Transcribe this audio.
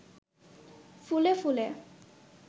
ফুলে ফুলে